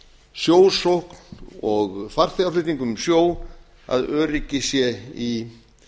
sjósókn og farþegaflutningum um sjó að öryggi sé í